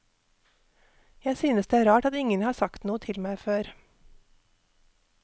Jeg synes det er rart at ingen har sagt noe til meg før.